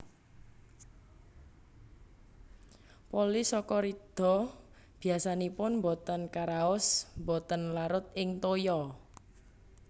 Polisakarida biasanipun botén karaos botén larut ing toya